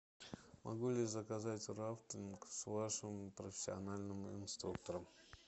могу ли заказать рафтинг с вашим профессиональным инструктором